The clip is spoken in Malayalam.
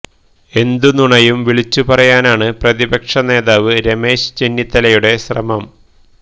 എന്തു നുണയും വിളിച്ചു പറയാനാണ് പ്രതിപക്ഷ നേതാവ് രമേശ് ചെന്നിത്തലയുടെ ശ്രമം